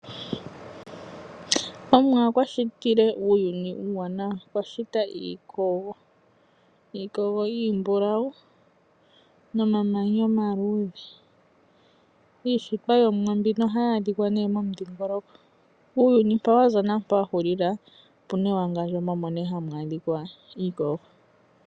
Omuwa okwa shitile uuyuni uuwanawa. Okwa shita iikogo. Iikogo iimbulau nomamanya omaluudhe. Iishitwa yOmuwa mbino ohayi adhika momudhingoloko. Uuyuni mpoka wa za naampoka wa hulila opu na ewangandjo moka hamu adhika iikogo.